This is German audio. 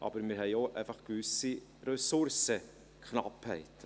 Aber wir haben einfach auch eine gewisse Ressourcenknappheit.